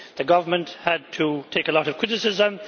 the government had to take a lot of criticism